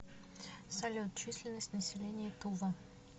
салют численность населения тува